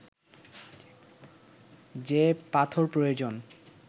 যে পাথর প্রয়োজন